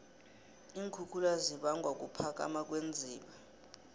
iinkhukhula zibangwa kuphakama kweenziba